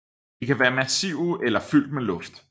De kan være massive eller fyldt med luft